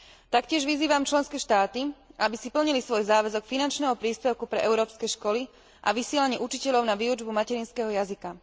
Taktiež vyzývam členské štáty, aby si plnili svoj záväzok finančného príspevku pre európske školy a vysielanie učiteľov na výučbu materinského jazyka.